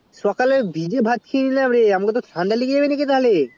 সকলে ভিজে ভাত খেয়ে এলাম রে আমাকে তো ঠান্ডা লেগে যাবে নাকিরে তাহলে